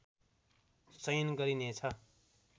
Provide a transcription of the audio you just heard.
चयन गरिने छ